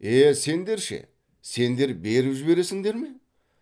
е сендер ше сендер беріп жібересіңдер ме